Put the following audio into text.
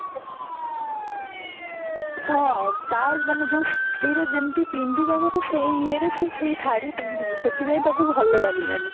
ମାନେ ଯୋଉ ଶାଢୀର ଯେମତି ପିନ୍ଦିବା କଥା ସେଇ ଇଏରେ ସେ ସେଇ ଶାଢୀ ପିନ୍ଧିନି ସେଠି ପାଇଁ ତାକୁ ଭଲ ଲାଗିଲାନି